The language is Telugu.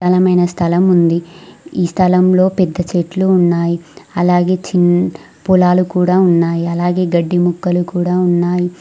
స్థలం ఉంది ఈ స్థలంలో పెద్ద చెట్లు ఉన్నాయి అలాగే చిన్ పొలాలు కూడా ఉన్నాయి అలాగే గడ్డి మొక్కలు కూడా ఉన్నాయి.